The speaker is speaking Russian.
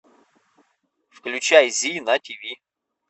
включай зи на тв